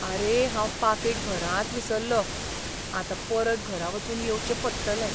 आरे, हांव पाकीट घरांच विसरलों. आतां परत घरा वचून येवचें पडटलें.